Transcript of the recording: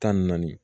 Tan ni naani